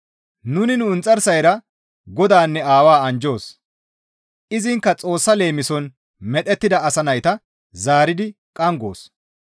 Nuni nu inxarsayra Godaanne Aawaa anjjoos; izinkka Xoossa leemison medhettida asa nayta zaaridi qanggoos.